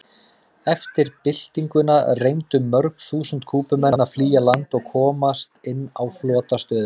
Eftir byltinguna reyndu mörg þúsund Kúbumenn að flýja land og komast inn á flotastöðina.